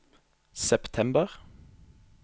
september